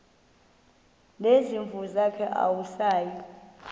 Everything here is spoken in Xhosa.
nezimvu zakhe awusayi